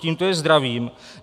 Tímto je zdravím.